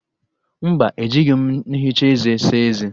Mba, ejighi m nhicha eze saa eze